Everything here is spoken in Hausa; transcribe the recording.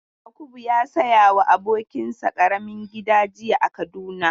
Yakubu ya saya wa abokin sa ƙaramin gida jiya a Kaduna.